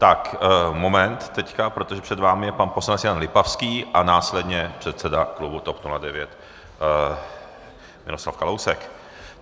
Tak moment, teď, protože před vámi je pan poslanec Jan Lipavský a následně předseda klubu TOP 09 Miroslav Kalousek.